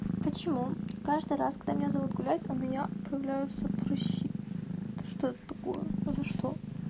почему каждый раз когда меня зовут гулять у меня появляются прыщи да что это такое за что